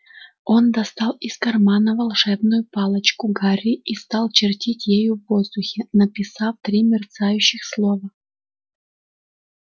он достал из кармана волшебную палочку гарри и стал чертить ею в воздухе написав три мерцающих слова